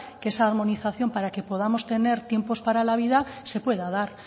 que esa armonización para que podamos tener tiempos para la vida se pueda dar